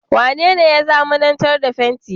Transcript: Mene ne ya zamanantar da fenti?